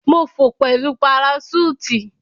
Mo fò pẹlu paraṣúùtì.